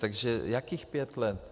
Takže jakých pět let?